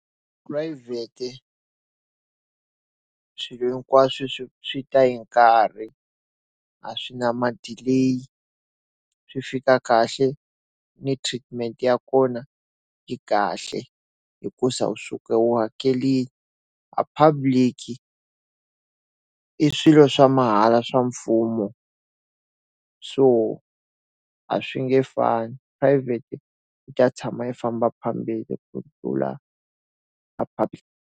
Private, swilo hinkwaswo swi swi ta yi nkarhi, a swi na ma-delay swi fika kahle, ni treatment ya kona yi kahle hikuza u suka u hakerile. A public-i, i swilo swa mahala swa mfumo. So a swi nge fani. Private yi ta tshama u famba phambeni ku tlula a public.